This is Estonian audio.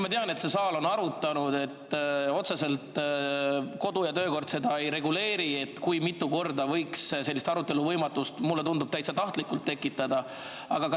Ma tean, et see saal on seda arutanud, et kodu- ja töökord otseselt ei reguleeri, kui mitu korda võib sellist arutelu võimatust – mulle tundub, täitsa tahtlikult – tekitada.